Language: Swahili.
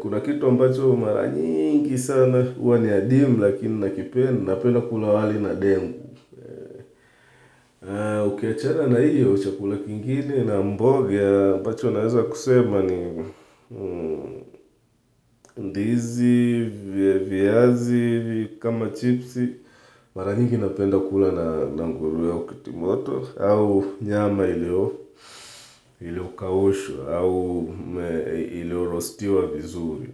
Kuna kitu ambacho maranyingi sana huwa ni adimu lakini ninakipenda Napenda kula wali na dengu Ukiachana na hiyo chakula kingine na mboga ambacho naweza kusema ni ndizi, viazi, kama chipsi Maranyingi napenda kula na nguruwe au kitimoto au nyama iliyo kaushwa au iliyo rostiwa vizuri.